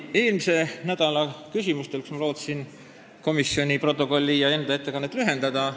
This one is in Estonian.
Eelmisel nädalal lootsin ma küsimusi esitades tänast komisjoni protokolli ettelugemist ja ettekannet lühendada.